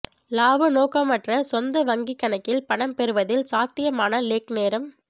இலாப நோக்கமற்ற சொந்த வங்கிக் கணக்கில் பணம் பெறுவதில் சாத்தியமான லேக் நேரம்